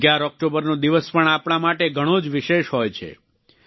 11 ઓક્ટોબરનો દિવસ પણ આપણા માટે ઘણો જ વિશેષ હોય છે